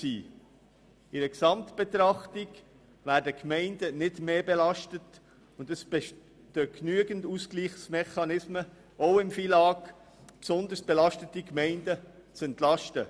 In einer Gesamtbetrachtung werden die Gemeinden nicht mehr belastet, und es bestehen genügend Ausgleichsmechanismen, auch durch das FILAG, um besonders belastete Gemeinden zu entlasten.